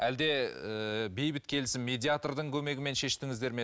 әлде ііі бейбіт келісім медиатрдың көмегімен шештіңіздер ме